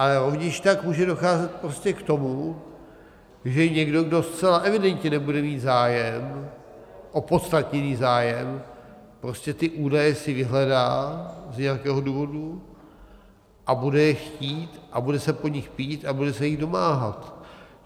Ale rovněž tak může docházet prostě k tomu, že někdo, kdo zcela evidentně nebude mít zájem, opodstatněný zájem, prostě ty údaje si vyhledá z nějakého důvodu a bude je chtít a bude se po nich pídit a bude se jich domáhat.